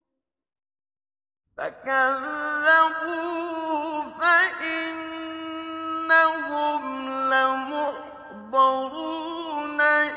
فَكَذَّبُوهُ فَإِنَّهُمْ لَمُحْضَرُونَ